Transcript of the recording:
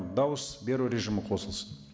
дауыс беру режимі қосылсын